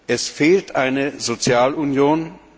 Es fehlt eine Sozialunion.